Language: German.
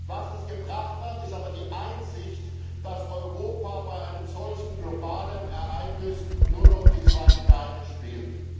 Was es aber gebracht hat, ist die Einsicht, dass Europa bei einem solchen globalen Ereignis nur noch die zweite Geige spielt.